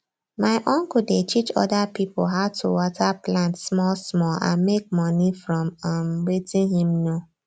my uncle dey teach oda pipo how to water plants small small and make money from um wetin him know